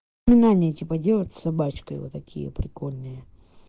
ну на они типа делают собачкой вот такие прикольные